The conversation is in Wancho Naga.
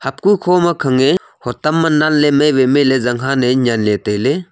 apku kho kho makhange hotam ma lan le mai wai mai le zanghan e nyan le taile.